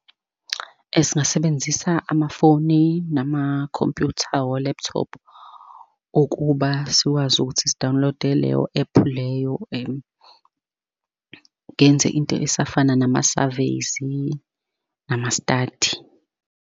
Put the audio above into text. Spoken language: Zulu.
Singasebenzisa amafoni, nama-computer, o-laptop, ukuba sikwazi ukuthi si-download-e leyo app leyo ngenze into esifana nama-survey-zi, nama-study.